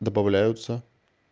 добавляются